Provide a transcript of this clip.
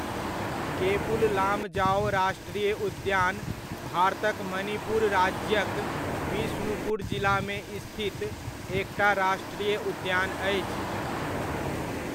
Cable Lamjao राष्ट्रीय उद्यान भारतक मणिपुर राज्यक बिष्णुपुर जिलामे स्थित एकटा राष्ट्रीय उद्यान अछि।